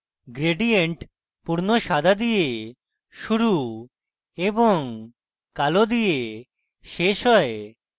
gradient পূর্ণ সাদা দিয়ে শুরু এবং কালো দিয়ে শেষ হয়